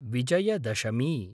Vijayadashami